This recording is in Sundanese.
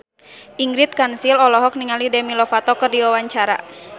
Ingrid Kansil olohok ningali Demi Lovato keur diwawancara